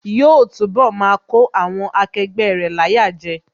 Yóò túnbọ̀ máa kó àwọn akẹgbẹ́ rẹ̀ láyà jẹ